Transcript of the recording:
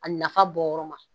A nafa bɔ yɔrɔ ma